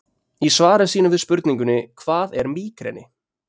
Í svari sínu við spurningunni Hvað er mígreni?